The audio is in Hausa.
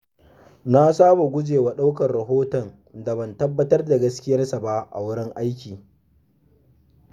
Na saba guje wa ɗaukar rahoton da ban tabbatar da gaskiyarsa ba a wurin aiki.